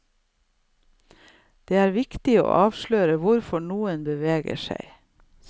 Det er viktig å avsløre hvorfor noe beveger deg.